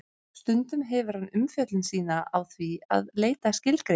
Stundum hefur hann umfjöllun sína á því að leita skilgreininga.